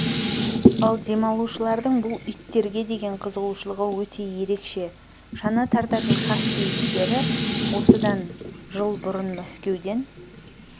ал демалушылардың бұл иттерге деген қызығушылығы өте ерекше шана тартатын хаски иттері осыдан жыл бұрын мәскеуден